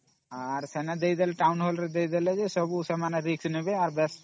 କାମ ଦେଇଦେଲେ ସେମାନେ Risk ନେବେ ସବୁ କରିବେ